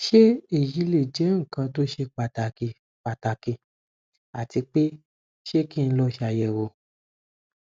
ṣe eyi le jẹ nkan to ṣe pataki pataki ati pe ṣé ki n lọ ṣayẹwo